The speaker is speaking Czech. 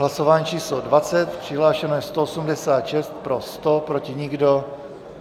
Hlasování číslo 20, přihlášeno je 186, pro 100, proti nikdo.